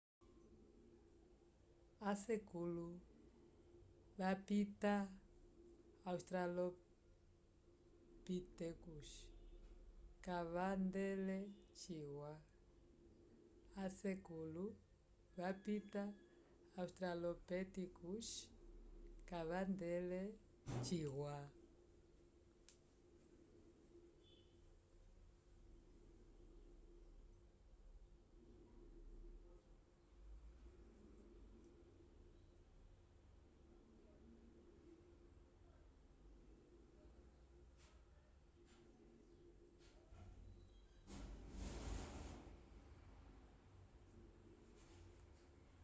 a sekulo vapita australopitecos kavandele ciwa